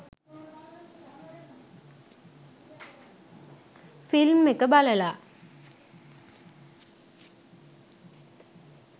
film එක බලලා